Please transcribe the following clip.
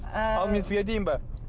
ы ал мен сізге айтайын ба